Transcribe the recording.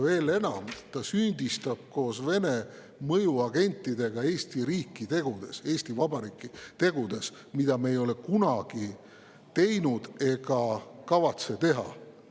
Veel enam, ta süüdistab koos Vene mõjuagentidega Eesti riiki, Eesti Vabariiki tegudes, mida me ei ole kunagi teinud ega kavatse teha.